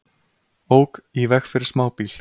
Ók í veg fyrir smábíl